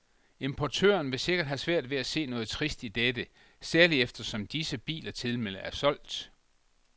Importøren vil sikkert have svært ved at se noget trist i dette, særlig eftersom disse biler tilmed er solgt.